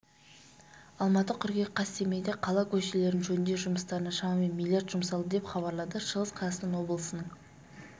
алматы қыркүйек қаз семейде қала көшелерін жөндеу жұмыстарына шамамен миллиард жұмсалды деп хабарлады шығыс қазақстан облысының